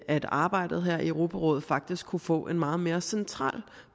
at arbejdet her i europarådet faktisk kunne få en meget mere central